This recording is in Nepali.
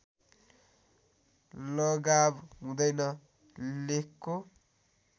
लगाव हुँदैन लेखको